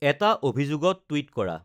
এটা অভিযোগত তূইট কৰা